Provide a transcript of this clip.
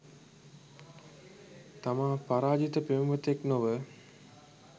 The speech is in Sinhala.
තමා පරාජිත පෙම්වතෙක් නොව